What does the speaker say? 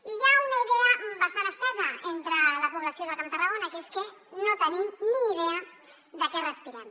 i hi ha una idea bastant estesa entre la població del camp de tarragona que és que no tenim ni idea de què respirem